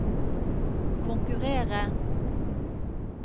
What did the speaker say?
konkurrere